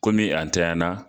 a ntanya na